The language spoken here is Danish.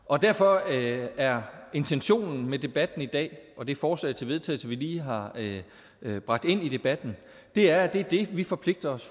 og derfor er intentionen med debatten i dag og det forslag til vedtagelse vi lige har bragt ind i debatten at det er det vi forpligter os